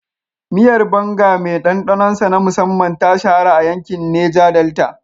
Miyar banga mai ɗanɗanon sa na musamman, ta shahara a yankin Neja Delta